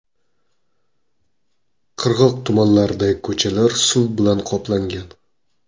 Qirg‘oq tumanlaridagi ko‘chalar suv bilan qoplangan.